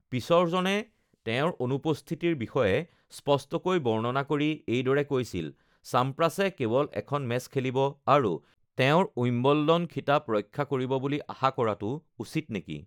"পিছৰজনে তেওঁৰ অনুপস্থিতিৰ বিষয়ে স্পষ্টকৈ বৰ্ণনা কৰি এইদৰে কৈছিল: ""চাম্প্ৰাছে কেৱল এখন মেচ খেলিব আৰু তেওঁৰ উইম্বলডন খিতাপ ৰক্ষা কৰিব বুলি আশা কৰাটো উচিত নেকি?"""